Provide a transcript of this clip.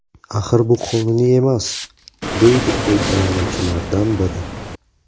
Axir bu qonuniy emas”, deydi foydalanuvchilardan biri.